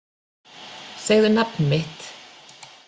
Segðu nafn mitt